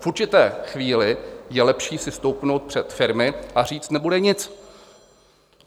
V určité chvíli je lepší si stoupnout před firmy a říct: Nebude nic.